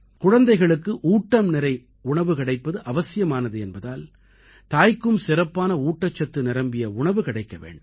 குழந்தைகளுக்கு ஊட்டம்நிறை உணவு கிடைப்பது அவசியமானது என்பதால் தாய்க்கும் சிறப்பான ஊட்டச்சத்து நிரம்பிய உணவு கிடைக்க வேண்டும்